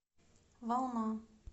волна